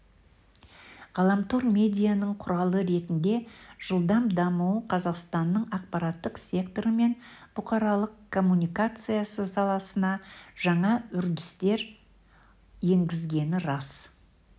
ғаламтор медианың құралы ретінде жылдам дамуы қазақстанның ақпараттық секторы мен бұқаралық коммуникация саласына жаңа үрдістер енгізгені рас